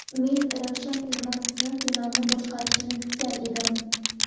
Men Ravshan Ermatovning finalni boshqarishini kutgan edim.